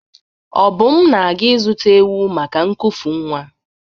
Obum na-aga ịzụta ewu maka nkufu nwa.